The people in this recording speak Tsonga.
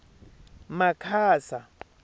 makhasa